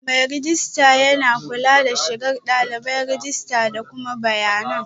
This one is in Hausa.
Mai rejista yana kula da shigar dalibai, rajista da kuma bayanan